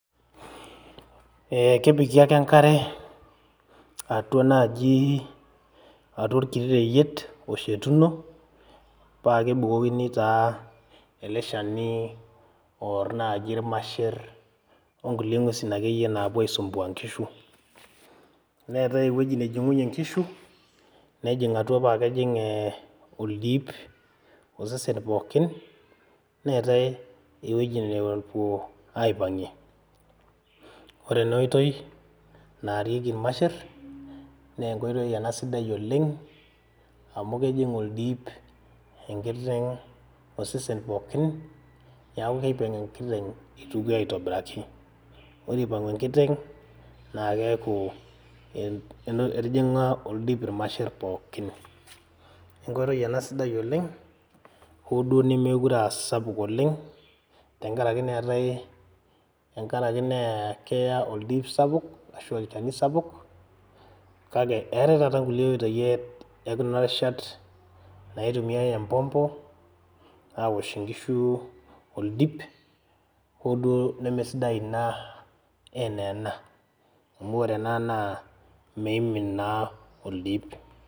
Eh kepiki ake enkare atua naaji atua orkiti reyiet oshetuno paa kebukokini taa ele shani orr naaji irmasherr onkulie ng'uesin akeyie naapuo aisumbua inkishu neetae ewueji nejing'unyie inkishu nejing atua paa kejing eh oldip osesen pooki neetae ewueji nepuo aipang'ie ore ena oitoi naarieki irmasherr naa enkoitoi ena sidai oleng amu kejing oldip enkiteng osesen pookin niaku kipang enkiteng itukie aitobiraki ore ipang'u enkiteng naa keeku en etijing'a oldip irmasherr pookin enkoitoi ena sidai oleng hoo duo nemekure asapuk oleng tenkarake neetae tenkarake nee keya oldip sapuk ashu olchani sapuk kake eetae taata nkulie oitoi e ekuna rishat naitumiae empompo awosh inkishu oldip hoduo nemesidai ina enaa ena amu ore ena naa meimin naa oldip.